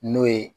N'o ye